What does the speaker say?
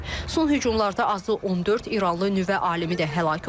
Son hücumlarda azı 14 İranlı nüvə alimi də həlak olub.